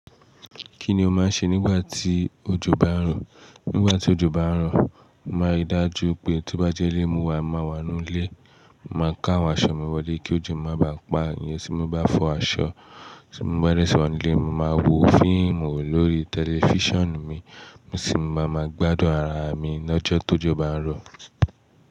Kí ni o máa ń ṣe nígbà tí ojò bá ń rọ̀? Nígbà tí ojò bá ń rọ, mo máa ń rí dájú pé tí bá jẹ́ ilé mo wá, màá wà nínú ilé. Mo máa ń ká àwọn aṣọ mi wọlé kí òjò má bá pa ìyẹn tí mo bá fọ aṣọ. Tí mo bá dẹsi wa nú ilé, mo máa wo fíìmù lórí tẹlifíṣàn mi, sì máa ma gbádùn ara mi lọ́jọ́ to ojo bá ń rọ̀.